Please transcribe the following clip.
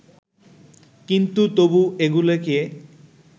কিন্তু তবু এগুলিকে